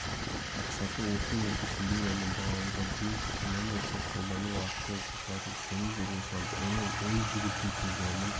мақсаты оқыту үрдісінде және бағалауда блум таксономиясын қолдану арқылы оқушылардың сыни тұрғысынан ойлау ой жүгірту тұжырым